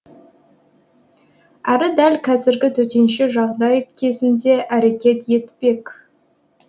әрі дәл кәзіргі төтенше жағдай кезінде әрекет етпек